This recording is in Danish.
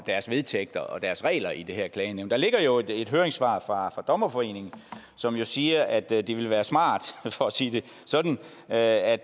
deres vedtægter og deres regler i det her klagenævn der ligger jo et høringssvar fra dommerforeningen som siger at det det ville være smart for at sige det sådan at at